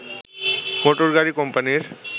মোটরগাড়ি কোম্পানির